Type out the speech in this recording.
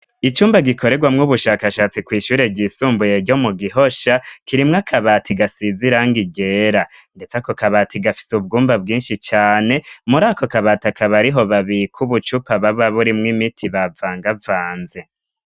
Icumba gikorerwamwo ubushakashatsi kw'ishure ryisumbuye ryo mu gihosha kirimwa akabata igasizirango igera, ndetse ako kabata igafise ubwumba bwinshi cane muri ako kabatakabariho babiko ubucupa baba burimwo imiti bavangavanze.